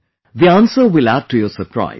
The answer will add to your surprise